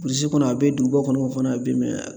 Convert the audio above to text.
Burusi kɔnɔ a bɛ duguba kɔnɔ fana bi